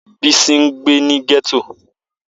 Bisi ngbe ni getto.